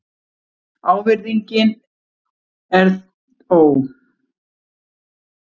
Virðingin er því ávinningurinn.